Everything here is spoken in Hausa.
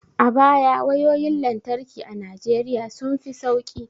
A baya wayoyin lantarki a Najeriya sun fi sauki